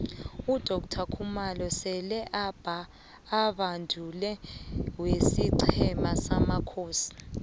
udoctor khumalo sele ambanduli wesiqhema samakhosi